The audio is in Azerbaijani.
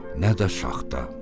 Nə də şaxta.